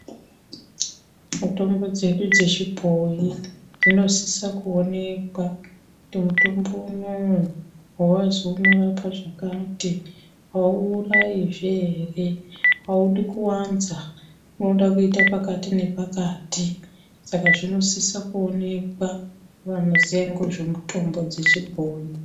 Mitombo dzedu dzechibhoi dzinosisa kuonekwa kuti mutombo unowu wazi unorapa zvakati auurayizve ere? audi kuwanza unoda kuita pakati nepakati , saka zvinosisa kuonekwa ngovanoziya ngozvomutombo dzechibhoi.